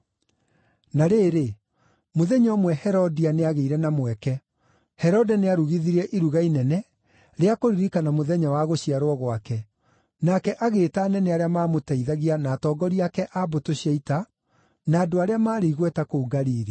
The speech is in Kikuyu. Na rĩrĩ, mũthenya ũmwe Herodia nĩagĩire na mweke. Herode nĩarugithirie iruga inene rĩa kũririkana mũthenya wa gũciarwo gwake, nake agĩĩta anene arĩa maamũteithagia na atongoria ake a mbũtũ cia ita, na andũ arĩa maarĩ igweta kũu Galili.